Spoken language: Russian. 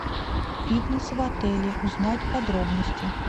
фитнес в отеле узнать подробности